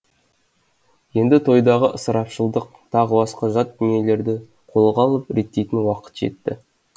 енді тойдағы ысырапшылдық тағы басқа жат дүниелерді қолға алып реттейтін уақыт жетті